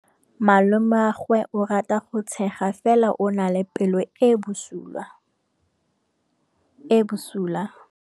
Malomagwe o rata go tshega fela o na le pelo e e bosula.